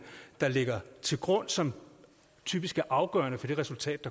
der ligger til grund som typisk er afgørende for det resultat